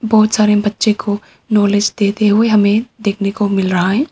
बहुत सारे बच्चे को नॉलेज देते हुए हमें देखने को मिल रहा है।